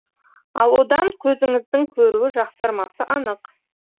ал одан көзіңіздің көруі жақсармасы анық